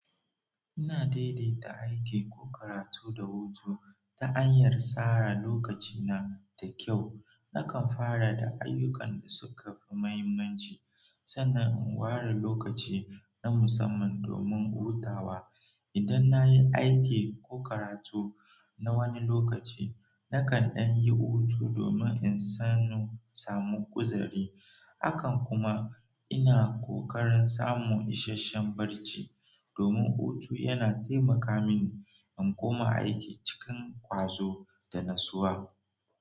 Ina daidaita aiki ko karatu da hutu ta hanyar tsara lokacina da kyau. Nakan fara da ayyukan da suka fi muhimmanci, sannan in ware lokaci na musamman domin hutawa. Idan na yi aiki ko karatu na wani lokaci, nakan ɗan yi hutu domin in samu uzari. Hakan kuma ina kokarin samun isasshen bacci, domin hutu yana taimaka mini in koma aiki cikin ƙwazo da natsuwa.